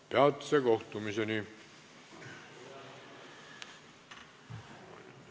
Peatse kohtumiseni!